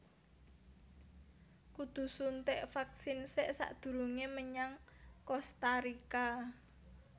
Kudu suntik vaksin sek sakdurunge menyang Kosta Rika